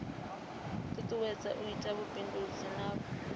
tutuwedza u ita vhubindudzi navho